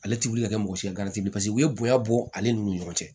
Ale ti wuli ka kɛ mɔgɔ si ka teliye bɔ ale nun ni ɲɔgɔn cɛ